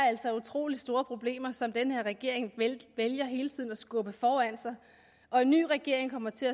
utrolig store problemer som den her regering vælger hele tiden at skubbe foran sig og en ny regering kommer til